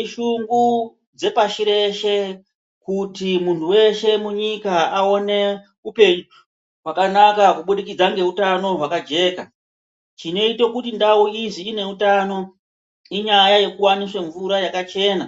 Ishungu dzepashi reshe kuti muntu veshe munyika aone upenyu hwakanaka kubudikidza ngeutano hwakajeka. Chinoite kuti ndau izi ineutano inyaya yekuvaniswa mvura yakachena.